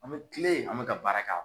An bɛ kile an bɛ ka baara k'a